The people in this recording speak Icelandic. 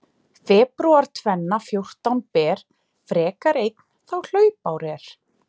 Febrúar tvenna fjórtán ber, frekar einn þá hlaupár er.